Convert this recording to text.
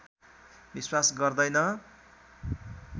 विश्वास गर्दैन